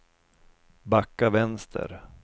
backa vänster